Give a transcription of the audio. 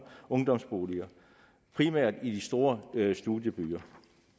ungdomsboliger primært i de store studiebyer